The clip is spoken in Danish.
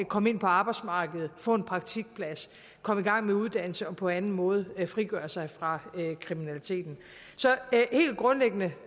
komme ind på arbejdsmarkedet få en praktikplads komme i gang med uddannelse og på anden måde frigøre sig fra kriminaliteten så helt grundlæggende